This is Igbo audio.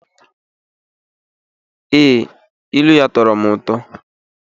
Yes, ilu ya tọọrọ m ụtọ.